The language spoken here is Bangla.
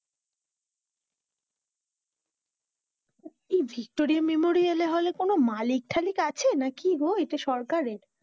এই ভিক্টোরিয়া মেমোরিয়ালে হলে কোনো মালিক টালিক আছে না কি গো? ইটা সরকারের,